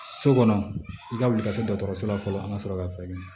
So kɔnɔ i ka wuli ka se dɔgɔtɔrɔso la fɔlɔ an ka sɔrɔ ka fɛɛrɛ ɲini